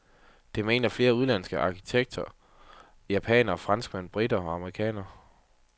Det mener flere udenlandske arkitekter, japanere, franskmænd, briter og amerikanere.